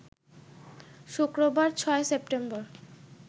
শুক্রবার, ০৬ সেপ্টেম্বর